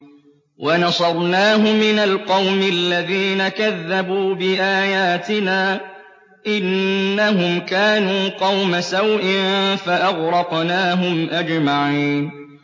وَنَصَرْنَاهُ مِنَ الْقَوْمِ الَّذِينَ كَذَّبُوا بِآيَاتِنَا ۚ إِنَّهُمْ كَانُوا قَوْمَ سَوْءٍ فَأَغْرَقْنَاهُمْ أَجْمَعِينَ